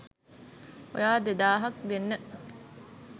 ඔයා දෙදාහක් දෙන්න